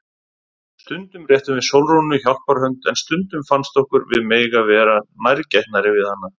Stundum réttum við Sólrúnu hjálparhönd en stundum fannst okkur við mega vera nærgætnari við hana.